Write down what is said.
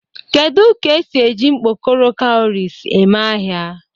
Kedu ka esi eji mkpokoro kawurisi eme ahia?